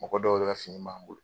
Mɔgɔ dɔw yɛrɛ ka fini b'an bolo.